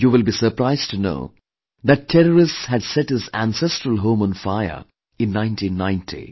You will be surprised to know that terrorists had set his ancestral home on fire in 1990